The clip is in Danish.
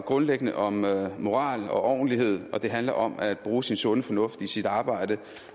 grundlæggende om moral og ordentlighed og det handler om at bruge sin sunde fornuft i sit arbejde